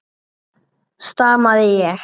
stamaði ég.